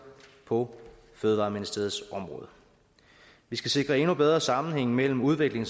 på fødevareministeriets område vi skal sikre endnu bedre sammenhæng mellem udvikling